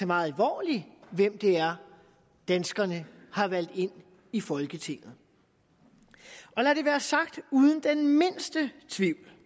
meget alvorligt hvem det er danskerne har valgt ind i folketinget og lad det være sagt uden den mindste tvivl